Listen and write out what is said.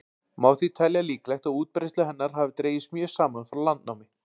Má því telja líklegt að útbreiðsla hennar hafi dregist mjög saman frá landnámi.